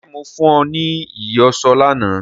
Ṣé mo fún ọ ní ìyọ̀ṣó lánàá